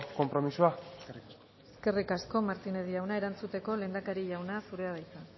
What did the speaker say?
konpromisoa eskerrik asko eskerrik asko martínez jauna erantzuteko lehendakari jauna zurea da hitza